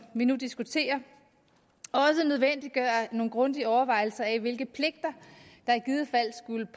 vi nu diskuterer også nødvendiggøre nogle grundige overvejelser af hvilke pligter der i givet fald skulle